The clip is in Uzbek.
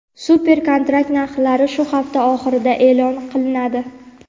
Super kontrakt narxlari shu hafta oxirida eʼlon qilinadi.